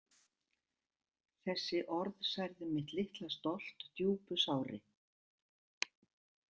Þessi orð særðu mitt litla stolt djúpu sári.